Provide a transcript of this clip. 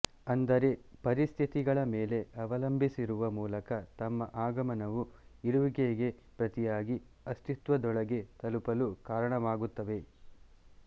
ಅಂದರೆ ಪರಿಸ್ಥಿತಿಗಳ ಮೇಲೆ ಅವಲಂಬಿಸುವ ಮೂಲಕ ತಮ್ಮ ಆಗಮನವು ಇರುವಿಕೆಗೆ ಪ್ರತಿಯಾಗಿ ಅಸ್ತಿತ್ವದೊಳಗೆ ತಲುಪಲು ಕಾರಣವಾಗುತ್ತವೆ